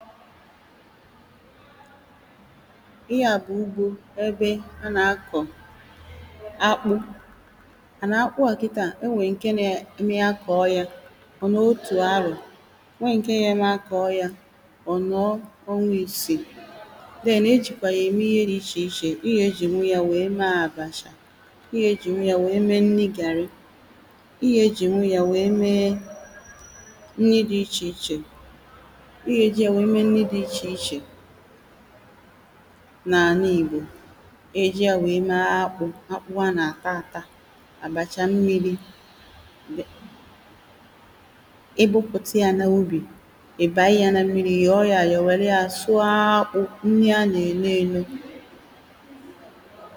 Ihe a bụ ugbo ebe a na-akọ[paues] akpu and akpu a Kita e nwere nke na-eme akọ ya ọ nà otù afọ̀ nwee nke na-eme akọ ya ọ nọọ onwa isi then -ejikwa ya ème ihe dị iche iche iga ejinwu ya wee mee abacha i ga ejìnwụ ya wee mee nri gaari ịga ejìnwụ ya nwee mee nri dị iche iche ịga e ejì ya wee mee nri dị iche ichè nà àlà ị̀gbò e eji à wèe mee akpụ akpụ ha nà àta àta àbàchà mmiri Um ibupùta ya n’ubì ị̀ bànye ya na mmiri ị̀ yọ̀ọ ya yȧ wère ya sụọ akpụ nri a nà-èle elu